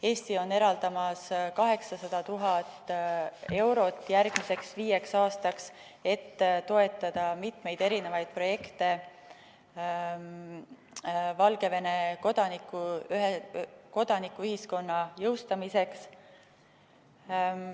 Eesti eraldab 800 000 eurot järgmiseks viieks aastaks, et toetada mitmeid projekte Valgevene kodanikuühiskonna jõustamiseks.